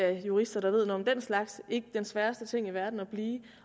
af jurister der ved noget om den slags ikke den sværeste ting i verden at blive